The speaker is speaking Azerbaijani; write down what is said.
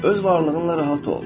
Öz varlığınla rahat ol.